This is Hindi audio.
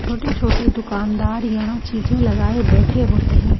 छोटे-छोटे दुकानदार यहां चीजें लगाए बैठे होते हैं।